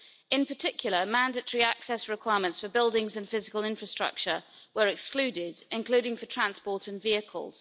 In particular, mandatory access requirements for buildings and physical infrastructure were excluded, including for transport and vehicles.